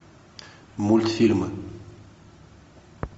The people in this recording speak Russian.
мультфильмы